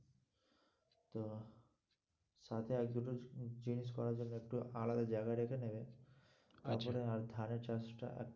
সাথে আর দুটো জিনিস করা যাবে একটু আলাদা জায়গায় রেখে নেবে আচ্ছা, তারপরে আর ধানের চাষটা